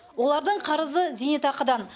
олардың қарызы зейнетақыдан